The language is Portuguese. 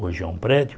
Hoje é um prédio.